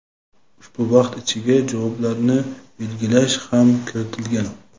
Ushbu vaqt ichiga javoblarni belgilash ham kiritilgan.